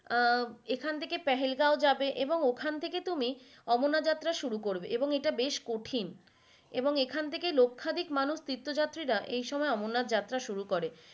আহ এখন থেকে পেহেলগাঁও যাবে এবং ওখান থেকে তুমি অমরনাথ যাত্ৰা শুরু করবে এবং এটা বেশ কঠিন এবং এখান থেকে লক্ষাধিক মানুষ তীর্থ যাত্রীরা এই সময় অমরনাথ যাত্ৰা শুরু করে।